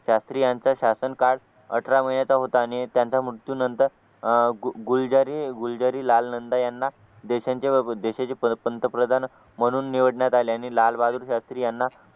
शास्त्रीय यांचा शासन काळ अठरा महिन्याचा होता आणि त्यांच्या मृत्यूनंतर अह गुलजारी गुलजारी लाल नंदा यांना देशांचे देशाचे पंतप्रधान म्हणून निवडण्यात आले आणि लालबहादूर शास्त्री यांना